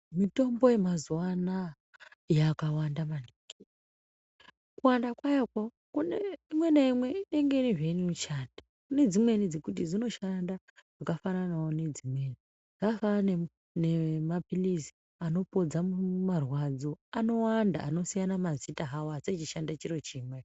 Mitombo yamazuva anaya yakawanda maningi kuwanda kwayoko imwe naimwe inonga ine zveinoshanda. Kune dzimweni dzekuti dzinoshanda zvakafananavo nedzimweni. Zvakafanana nemaphirizi anopodza marwadzo anowanda anosiyana mazita havo asi achishanda chiro chimwe.